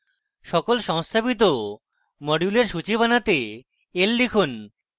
সকল সংস্থাপিত modules সূচী বানাতে l লিখুন